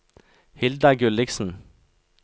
Hilda Gulliksen